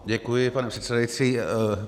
Děkuji, pane předsedající.